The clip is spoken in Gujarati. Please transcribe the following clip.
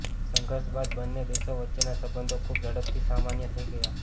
સંઘર્ષ બાદ બંને દેશો વચ્ચેના સંબંધો ખૂબ ઝડપથી સામાન્ય થઈ ગયા